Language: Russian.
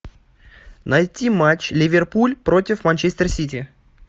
найти матч ливерпуль против манчестер сити